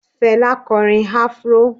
Fela korín afro